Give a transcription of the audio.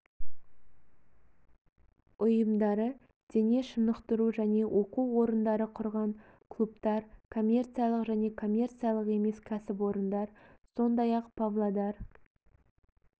ұйымдары дене шынықтыру және оқу орындары құрған клубтар коммерциялық және коммерциялық емес кәсіпорындар сондай-ақ павлодар